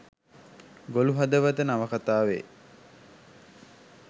Golu Hadawatha නවකතාවේ